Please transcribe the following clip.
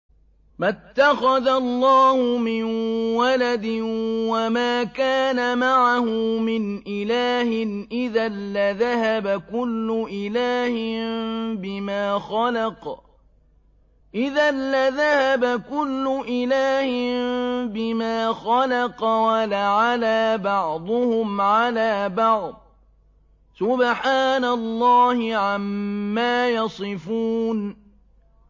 مَا اتَّخَذَ اللَّهُ مِن وَلَدٍ وَمَا كَانَ مَعَهُ مِنْ إِلَٰهٍ ۚ إِذًا لَّذَهَبَ كُلُّ إِلَٰهٍ بِمَا خَلَقَ وَلَعَلَا بَعْضُهُمْ عَلَىٰ بَعْضٍ ۚ سُبْحَانَ اللَّهِ عَمَّا يَصِفُونَ